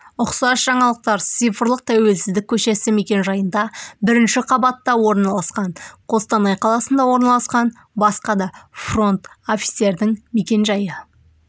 ұқсас жаңалықтар цифрлық тәуелсіздік көшесі мекенжайында бірінші қабатта орналасқан қостанай қаласында орналасқан басқа да фронт-офистердің мекенжайы